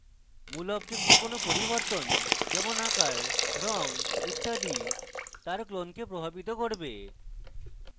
মূল object clone পরিবর্তন যেমন আকার রঙ ইত্যাদি তার clone প্রভাবিত করবে